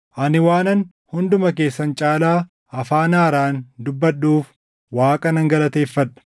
Ani waanan hunduma keessan caalaa afaan haaraan dubbadhuuf Waaqa nan galateeffadha.